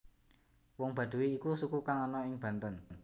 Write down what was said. Wong Baduy iku suku kang ana ing Banten